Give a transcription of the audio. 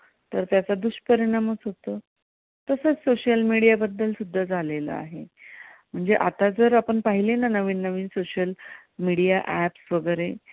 तर त्याचा दुष्परिणामच होतो. तसंच social media बद्दल सुद्धा झालेलं आहे. म्हणजे आता जर आपण पाहिले ना नवीन नवीन social media apps वगैरे